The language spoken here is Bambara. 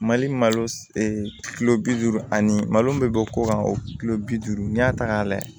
Mali malo bi duuru ani malo bɛ bɔ ko kan o kilo bi duuru n'i y'a ta k'a lajɛ